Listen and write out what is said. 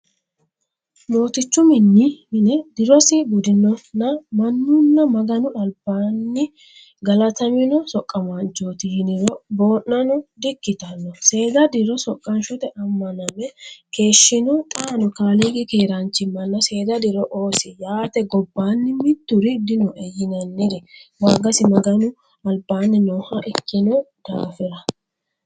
Mootichu mine dirosi gudinonna mannuno Maganu albaanino galatamino soqamanchoti yiniro boonano di"ikkittano seeda diro soqanshote amaname keeshshino xaano kaaliiqi keeranchimanna seeda diro oosi yaate gobbanni mituri dinoe yinanniri waagisi Maganu albaani nooha ikkino daafira.